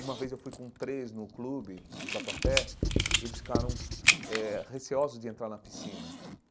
Uma vez eu fui com três no clube do tatuapé e eles ficaram eh receosos de entrar na piscina.